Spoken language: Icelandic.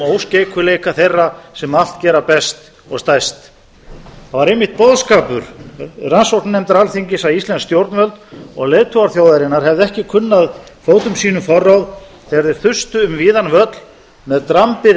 óskeikulleika þeirra sem allt gera best og stærst það var einmitt boðskapur rannsóknarnefndar alþingis að íslensk stjórnvöld og leiðtogar þjóðarinnar hefðu ekki kunnað fótum sínum forráð þegar þeir þustu um víðan völl með drambið